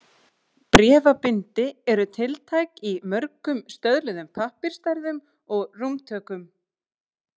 Bréfabindi eru tiltæk í mörgum stöðluðum pappírsstærðum og rúmtökum.